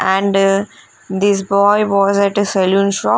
and this boy was at a saloon shop.